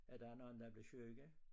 At der er nogen der er blevet syge